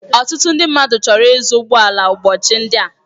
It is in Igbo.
Ọtụtụ ndị mmadụ chọrọ ịzụ ụgbọ ala ụbọchị ndị a.